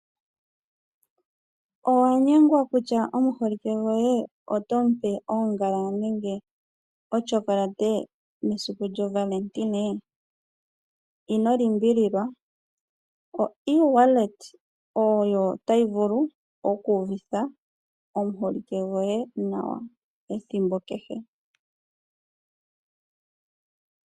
Owa nyengwa kutya omuholike goye otomu pe oongala nenge ochocolate mesiku lyohole? Ino limbililwa okutuma oshimaliwa kongodhi noFNB oko taku vulu okuuvitha nawa omuholike goye ethimbo kehe.